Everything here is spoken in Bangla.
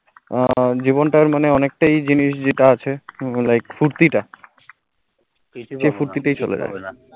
জীবনটার মনে অনেকটাই জিনিস যেটা আছে ও like ফুর্তি টা, সেই ফুর্তি টা ই চলে জায়ে